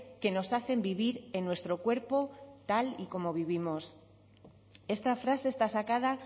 que nos hacen vivir en nuestro cuerpo tal y como vivimos esta frase está sacada